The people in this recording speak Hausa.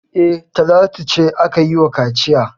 E, Talatu ce aka yi wa kaciya.